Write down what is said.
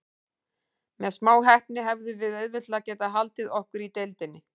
Með smá heppni hefðum við auðveldlega getað haldið okkur í deildinni.